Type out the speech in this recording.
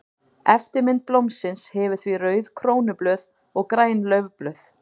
Eftirmynd blómsins hefur því rauð krónublöð og græn laufblöð.